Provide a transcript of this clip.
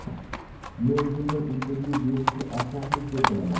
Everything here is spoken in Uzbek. Men bunday intervyu berishni ahmoqlik deb bilaman.